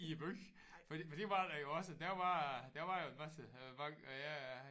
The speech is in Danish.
I æ by for for det var der jo også der var der var en masse øh banker ja ja